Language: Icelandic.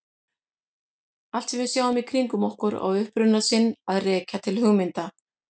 Allt sem við sjáum í kringum okkur á uppruna sinn að rekja til hugmynda.